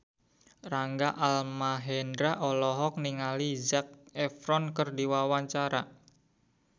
Rangga Almahendra olohok ningali Zac Efron keur diwawancara